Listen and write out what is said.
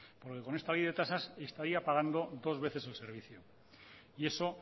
por lo que con esta ley de tasas estaría pagando dos veces el servicio y eso